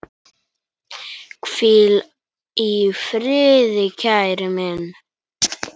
Hvíl í friði, kæri minn.